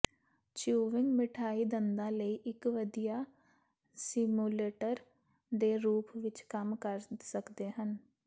chewing ਮਿਠਾਈ ਦੰਦਾਂ ਲਈ ਇਕ ਵਧੀਆ ਸਿਮੂਲੇਟਰ ਦੇ ਰੂਪ ਵਿਚ ਕੰਮ ਕਰ ਸਕਦੇ ਹਨ